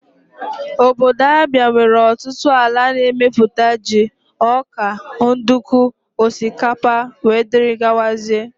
Ọbọdọ Abia nwere ọtụtụ ala na-emeputa jị, ọkà, nduku, osikapa wdg.